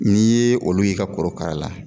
N'i ye olu y'i ka korokara la